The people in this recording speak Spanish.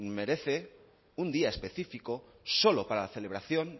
merece un día específico solo para la celebración